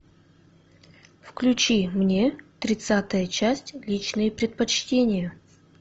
включи мне тридцатая часть личные предпочтения